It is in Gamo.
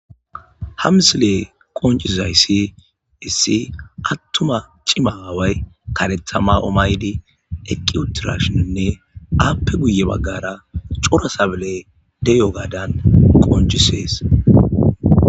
Ha misile qoncizayssi issi attuma cima aaway karethama omaydi eqqi utirashininne aappe guye baggara cora sabele deyo gadan qoncisees.